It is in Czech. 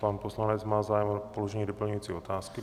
Pan poslanec má zájem o položení doplňující otázky.